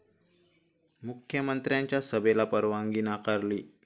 मुख्यमंत्र्यांच्या सभेला परवानगी नाकारली